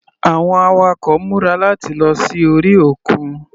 Àwọn awakọ̀ múra láti lọ sí orí òkun.